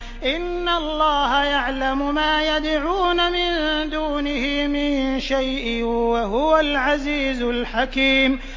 إِنَّ اللَّهَ يَعْلَمُ مَا يَدْعُونَ مِن دُونِهِ مِن شَيْءٍ ۚ وَهُوَ الْعَزِيزُ الْحَكِيمُ